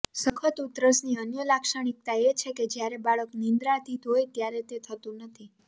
સખત ઉધરસની અન્ય લાક્ષણિકતા એ છે કે જ્યારે બાળક નિદ્રાધીન હોય ત્યારે તે થતું નથી